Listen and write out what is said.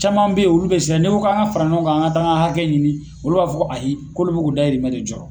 Caman bɛ yen olu bɛ siran n'i ko k'an ka fara ɲɔgɔn kan k'an ka taa an ka hakɛ ɲini olu b'a fɔ ko a ayi k'olu bɛ k'u ka dayirimɛ de jɔɔrɔ.